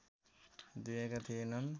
दिएका थिएनन्